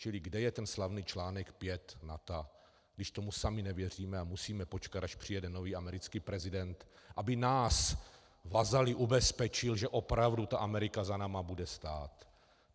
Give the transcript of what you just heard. Čili kde je ten slavný článek 5 NATO, když tomu sami nevěříme a musíme počkat, až přijede nový americký prezident, aby nás, vazaly, ubezpečil, že opravdu ta Amerika za námi bude stát?